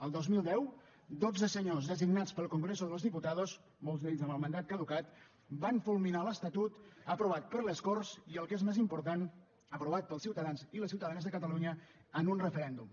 al dos mil deu dotze senyors designats pel congreso de los diputados molts d’ells amb el mandat caducat van fulminar l’estatut aprovat per les corts i el que és més important aprovat pels ciutadans i les ciutadanes de catalunya en un referèndum